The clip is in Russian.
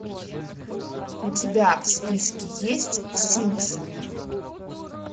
у тебя в списке есть симпсоны